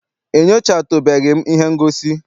Enyochatubeghi m ihe ngosi.